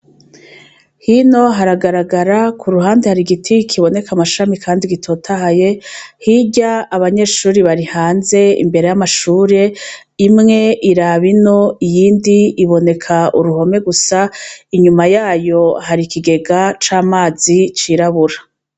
Hino haragaragara ku ruhande hari igiti kiboneka amashami kandi gitotahaye, hirya abanyeshuri bari hanze imbere y'amashure, imwe iraba ino iyindi iboneka uruhome gusa, inyuma yayo hari ikigega c'amazi cirabura.